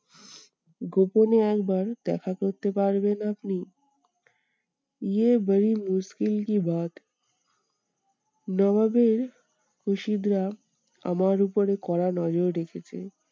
গোপোনে একবার দেখা করতে পারবেন আপনি? নবাবের হুসিদরা আমার উপরে কড়া নজর রেখেছে।